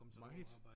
Meget